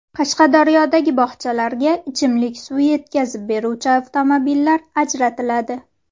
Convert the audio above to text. Qashqadaryodagi bog‘chalarga ichimlik suvi yetkazib beruvchi avtomobillar ajratiladi.